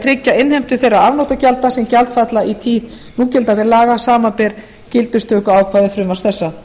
tryggja innheimtu þeirra afnotagjalda sem gjaldfalla í tíð núgildandi laga samanber gildistöku ákvæðis frumvarps þessa